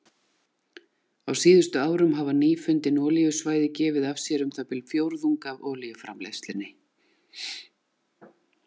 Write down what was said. Á síðustu árum hafa nýfundin olíusvæði gefið af sér um það bil fjórðung af olíuframleiðslunni.